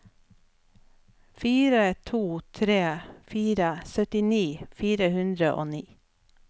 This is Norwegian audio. fire to tre fire syttini fire hundre og ni